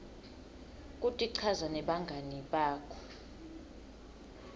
kutichaza nebangani bakho